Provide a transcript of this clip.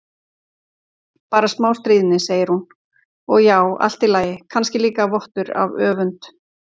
Bara smá stríðni, segir hún, og já, allt í lagi, kannski líka vottur af öfund.